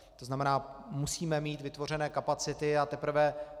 To znamená, musíme mít vytvořené kapacity a teprve...